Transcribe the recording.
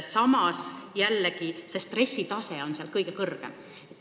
Samas jällegi, stressitase on seal kõige kõrgem.